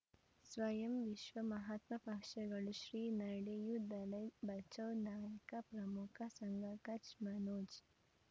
ಸ್ವಯಂ ವಿಶ್ವ ಮಹಾತ್ಮ ಪಕ್ಷಗಳು ಶ್ರೀ ನಡೆಯೂ ದಲೈ ಬಚೌ ನಾಯಕ ಪ್ರಮುಖ ಸಂಘ ಕಚ್ ಮನೋಜ್